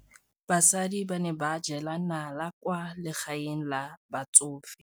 Basadi ba ne ba jela nala kwaa legaeng la batsofe.